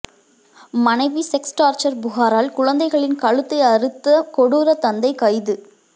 மனைவி sex torture புகாரால் குழந்தைகளின் கழுத்தை அறுத்த கொடூர தந்தை கைது